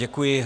Děkuji.